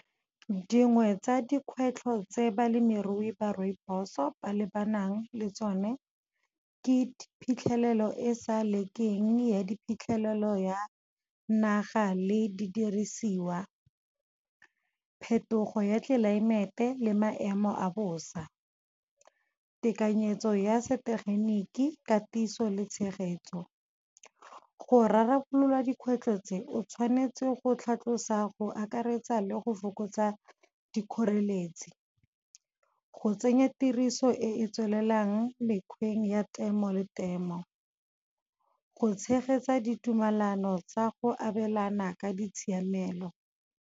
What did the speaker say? Dingwe tsa dikgwetlho tse balemirui ba rooibos-o ba lebanang le tsone. Ke phitlhelelo e e sa lekeng, ya di phitlhelelo ya naga le di dirisiwa. Phetogo ya tlelaemete le maemo a bosa, tekanyetso ya setegeniki katiso le tshegetso. Go rarabololwa dikgwetlho tse o tshwanetse go tlhatlosiwa go akaretsa le go fokotsa dikgoreletsi. Go tsenya tiriso e e tswelelang mekgweng ya temo le temo, go tshegetsa ditumalano tsa go abelana ka ditshiamelo.